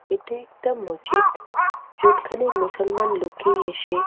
ইটা একটা মজ্জিত । যেখানে মুসুলমান লোকে এসে--